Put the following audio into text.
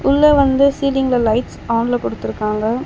உள்ள வந்து சீலிங்ல லைட்ஸ் ஆன்ல குடுத்துருக்காங்க.